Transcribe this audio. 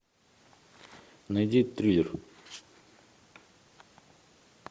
найди триллер